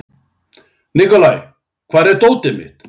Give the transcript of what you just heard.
Nikolai, hvar er dótið mitt?